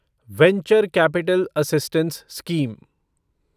venture capital assistance scheme